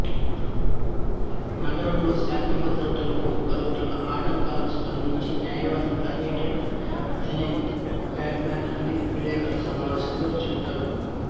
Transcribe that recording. నగరంలో శాంతి భద్రతలకు కల్గుతున్న ఆటంకాలకు స్పందించి న్యాయవాది హార్వీడెంట్ తనే బాట్ మాన్ అని విలేకరుల సమావేశంలో చెప్తాడు